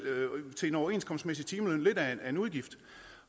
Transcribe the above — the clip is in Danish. til en overenskomstmæssig timeløn lidt af en udgift